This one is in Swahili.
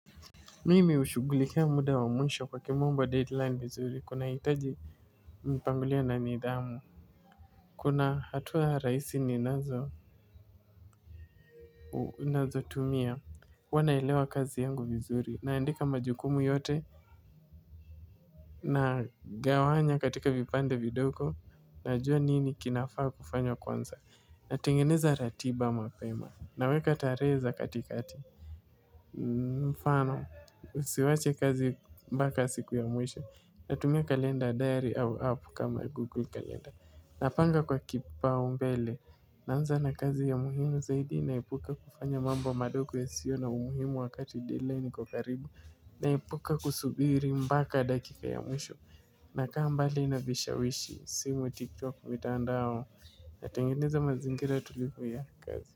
Mimi hushugulikia muda wa mwisho kwa kimombo deadline vizuri kuna hitaji mpangilio na nidhamu. Kuna hatua rahisi ni nazo. Nazo tumia huwa naelewa kazi yangu vizuri. Naandika majukumu yote. Na gawanya katika vipande vidogo. Najua nini kinafaa kufanywa kwanza na tengeneza ratiba mapema na weka tarehe za katikati. Mfano usiwache kazi mbaka siku ya mwisho. Natumia kalenda diary au app kama google kalenda. Napanga kwa kipau mbele. Naanza na kazi ya muhimu zaidi naepuka kufanya mambo madogo yasio na umuhimu wakati deadline iko karibu. Naepuka kusubiri mbaka dakika ya mwisho. Nakaa mbali na vishawishi simu tiktok mitandao. Natengeneza mazingira tulivu ya kazi.